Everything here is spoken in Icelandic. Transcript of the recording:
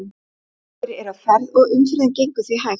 Margir eru á ferð og umferðin gengur því hægt.